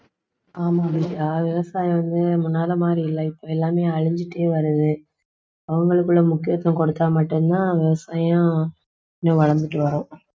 ஆமாம் அபிஷா விவசாயம் வந்து முன்னால மாதிரி இல்ல இப்ப எல்லாமே அழிஞ்சிட்டே வருது அவங்களுக்குள்ள முக்கியத்துவம் கொடுத்தா மட்டும் தான் விவசாயம் இன்னும் வளர்ந்துட்டு வரும்